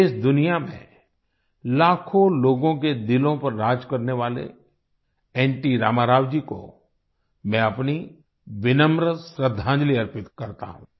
देशदुनिया में लाखों लोगों के दिलों पर राज करने वाले एनटी रामाराव जी को मैं अपनी विनम्र श्रद्धांजलि अर्पित करता हूँ